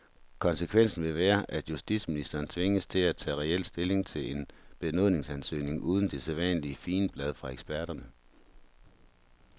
Konsekvensen vil være, at justitsministeren tvinges til at tage reel stilling til en benådningsansøgning uden det sædvanlige figenblad fra eksperterne.